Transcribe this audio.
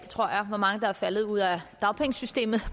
tror jeg af hvor mange der er faldet ud af dagpengesystemet